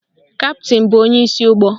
Kaptịn bụ onyeisi ụgbọ